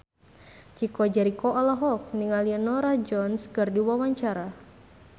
Chico Jericho olohok ningali Norah Jones keur diwawancara